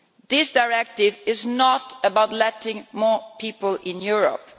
This directive is not about letting more people into Europe.